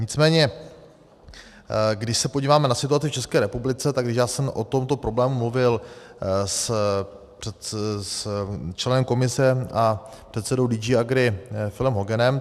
Nicméně když se podíváme na situaci v ČR, tak já jsem o tomto problému mluvil s členem Komise a předsedou DG Agri Philem Hoganem.